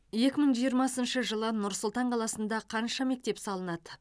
екі мың жиырмасыншы жылы нұр сұлтан қаласында қанша мектеп салынады